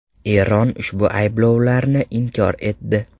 Eron ushbu ayblovlarni inkor etdi.